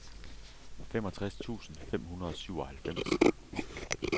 femogtres tusind fem hundrede og syvoghalvfems